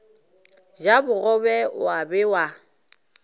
ja bogobe wa be wa